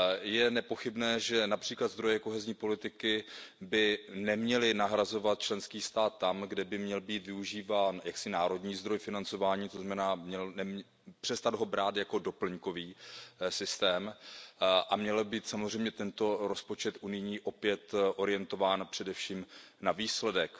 Je nepochybné, že například zdroje kohezní politiky by neměly nahrazovat členský stát tam, kde by měl být využíván národní zdroj financování, to znamená přestat ho brát jako doplňkový systém, a měl by být samozřejmě tento rozpočet unijní opět orientován především na výsledek.